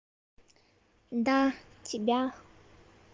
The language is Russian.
да тебя